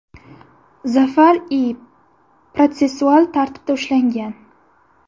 Zafar I. protsessual tartibda ushlangan.